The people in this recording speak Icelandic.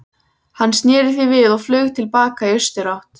Hann sneri því við og flaug til baka í austurátt.